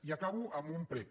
i acabo amb un prec